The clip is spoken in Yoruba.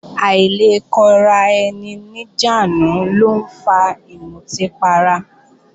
Àìlekóraeni-níjàánu ló ń fa ìmutí para